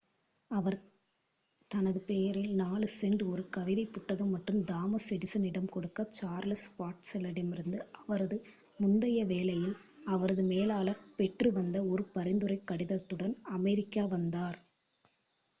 அவர் தனது பெயரில் 4 சென்ட்ஸ் ஒரு கவிதைப் புத்தகம் மற்றும் தாமஸ் எடிசனிடம் கொடுக்க சார்லஸ் பாட்செலரிடமிருந்துஅவரது முந்தைய வேலையில் அவரது மேலாளர் பெற்று வந்த ஒரு பரிந்துரைக் கடிதத்துடன் அமெரிக்கா வந்தார்